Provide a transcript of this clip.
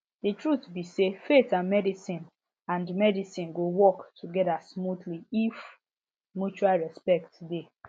the truth be sayfaith and medicine and medicine go work together smoothly if mutual respect dey